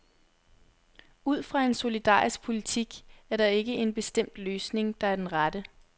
Ud fra en solidarisk politik er der ikke en bestemt løsning, der er den rette.